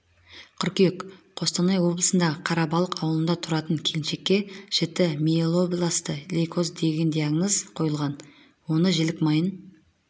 қыркүйек қостанай облысындағы қарабалық ауылында тұратын келіншекке жіті миелобласты лейкоз деген диагноз қойылған оны жілік майын